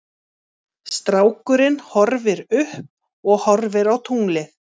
Strákurinn horfir upp og horfir á tunglið.